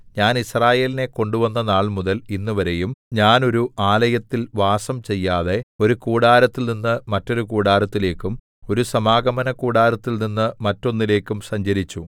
ഞാൻ യിസ്രായേലിനെ കൊണ്ടുവന്ന നാൾമുതൽ ഇന്നുവരെയും ഞാൻ ഒരു ആലയത്തിൽ വാസം ചെയ്യാതെ ഒരു കൂടാരത്തിൽനിന്ന് മറ്റൊരു കൂടരത്തിലേക്കും ഒരു സമാഗമനകൂടാരത്തിൽ നിന്ന് മറ്റൊന്നിലേക്കും സഞ്ചരിച്ചു